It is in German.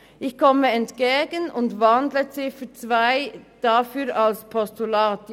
Ich komme ihm entgegen und wandle die Ziffer 2 in ein Postulat um.